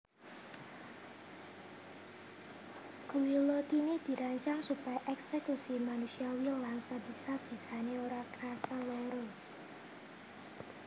Guillotine dirancang supaya èksekusi manusiawi lan sabisa bisané ora krasa lara